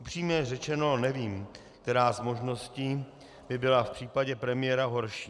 Upřímně řečeno, nevím, která z možností by byla v případě premiéra horší.